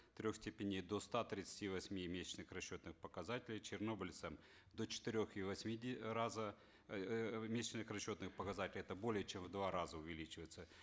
трех степеней до ста тридцати восьми месячных расчетных показателей чернобыльцам до четырех и восьми раза эээ месячных расчетных показателей это более чем в два раза увеличивается